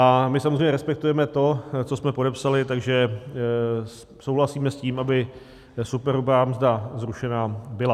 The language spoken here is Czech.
A my samozřejmě respektujeme to, co jsme podepsali, takže souhlasíme s tím, aby superhrubá mzda zrušena byla.